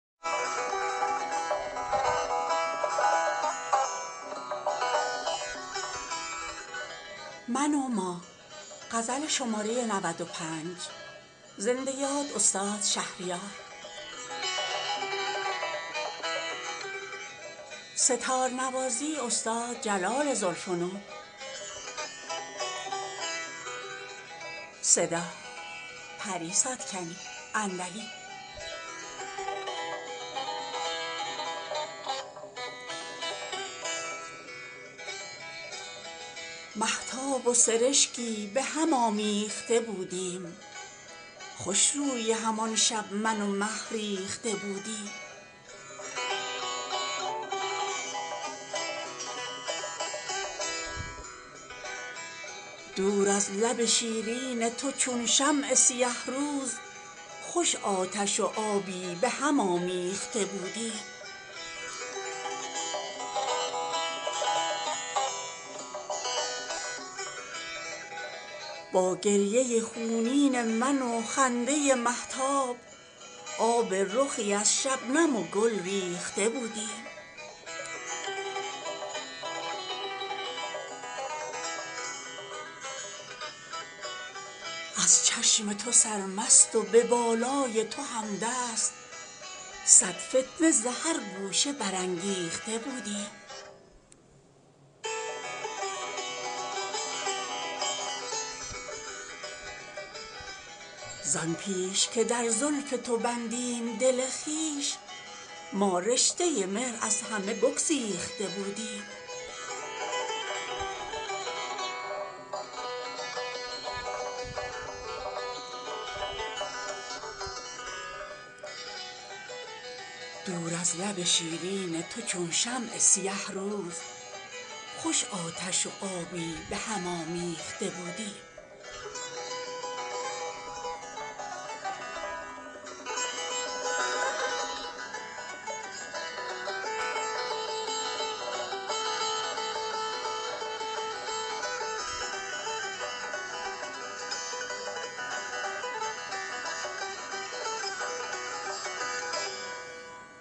مهتاب و سرشکی به هم آمیخته بودیم خوش رویهم آن شب من و مه ریخته بودیم دور از لب شیرین تو چون شمع سیه روز خوش آتش و آبی به هم آمیخته بودیم تا زلف و رخت بردمد از سایه و روشن از شاخه سرو چمن آویخته بودیم غربال به کف نقره خواب آور مهتاب تا عطسه مستان سحر بیخته بودیم با گریه خونین من و خنده مهتاب آب رخی از شبنم و گل ریخته بودیم از چشم تو سرمست و به بالای توهمدست صد فتنه ز هر گوشه برانگیخته بودیم زان پیش که در زلف تو بندیم دل خویش ما رشته مهر از همه بگسیخته بودیم